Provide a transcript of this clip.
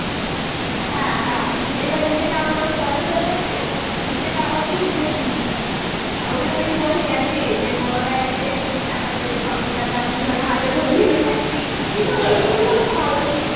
হ্যাঁ হ্যাঁ এবার নিজে কমানোর বয়স হয়ে গেছে, নিজে কামবি নিজে কিনবি. আর ওই ওই বয়স গেছে যে বড়রা এসে টাকা দেবে, পাঁচশ টাকা দুশো টাকা হাতে ধরিয়ে দেবে . কিন্তু ওই দিনগুলো ভালো ছিলো.